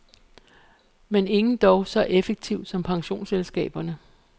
Men ingen dog så effektivt som pensionsselskaberne.